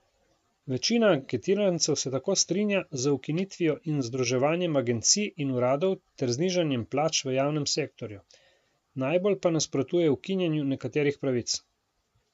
Večina anketirancev se tako strinja z ukinitvijo in združevanjem agencij in uradov ter znižanjem plač v javnem sektorju, najbolj pa nasprotuje ukinjanju nekaterih pravic.